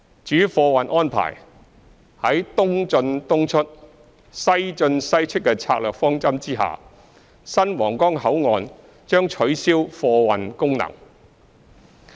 至於貨運安排，在"東進東出、西進西出"的策略方針下，新皇崗口岸將取消貨運功能。